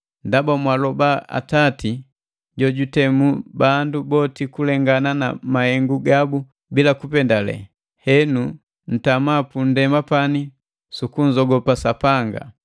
Ndaba mwaloba Atati, jojutemu bandu boti kulengana na mahengu gabu bila kupendale, henu ntama pundema pani su kunzogopa Sapanga.